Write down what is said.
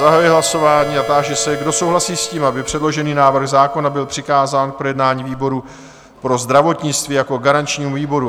Zahajuji hlasování a táži se, kdo souhlasí s tím, aby předložený návrh zákona byl přikázán k projednání výboru pro zdravotnictví jako garančnímu výboru?